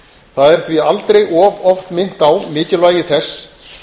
það er því aldrei of oft minnt á mikilvægi þess